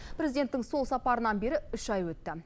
президенттің сол сапарынан бері үш ай өтті